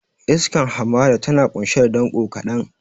Iskar hamada tana ƙunshe da danƙo kaɗan.